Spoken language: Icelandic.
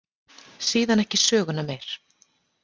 Síðan ekki söguna meir.